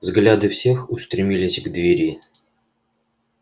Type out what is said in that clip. взгляды всех устремились к двери